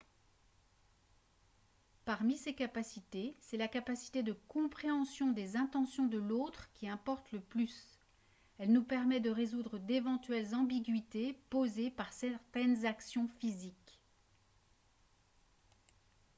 parmi ces capacités c'est la capacité de compréhension des intentions de l'autre qui importe le plus elle nous permet de résoudre d'éventuelles ambiguïtés posées par certaines actions physiques